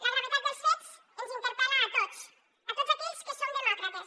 la gravetat dels fets ens interpel·la a tots a tots aquells que som demòcrates